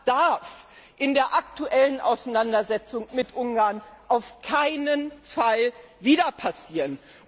Das darf in der aktuellen Auseinandersetzung mit Ungarn auf keinen Fall wieder passieren!